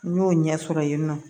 N y'o ɲɛ sɔrɔ yen nɔ